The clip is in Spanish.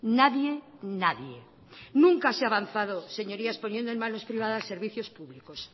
nadie nadie nunca se ha avanzado señorías poniendo en manos privadas servicios públicos